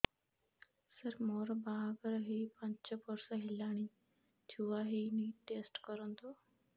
ସାର ମୋର ବାହାଘର ହେଇ ପାଞ୍ଚ ବର୍ଷ ହେଲାନି ଛୁଆ ହେଇନି ଟେଷ୍ଟ କରନ୍ତୁ